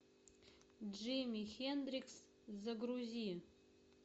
джимми хендрикс загрузи